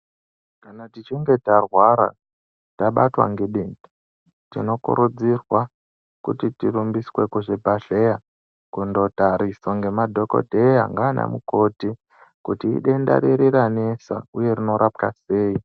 Kana tichinge tarwara tabatwa ngedenda tinokurudzirwa kuti tirumbiswe kuzvibhedhlera kundotariswa nemadhokodheya nana mukoti kuti idenda riri ranesa uye rinorapwa sei.